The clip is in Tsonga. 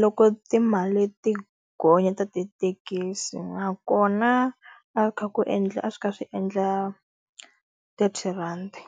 loko timali ti gonya ta tithekisi. Nakona a kha ku endla a swi ka swi endla thirty rhandi.